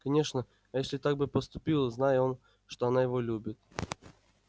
конечно эшли так бы поступил знай он что она его любит